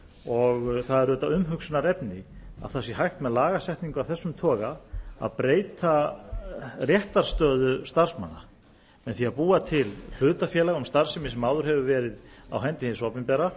og það er auðvitað umhugsunarefni að það sé hægt með lagasetningu af þessum toga að breyta réttarstöðu starfsmanna með því að búa til hlutafélag um starfsemi sem áður hefur verið á hendi hins opinbera